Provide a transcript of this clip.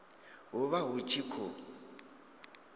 hu vha hu tshi khou